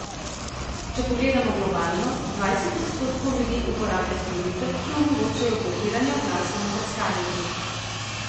Če pogledamo globalno, dvajset odstotkov ljudi uporablja storitve, ki omogočajo blokiranje oglasov na brskalnikih.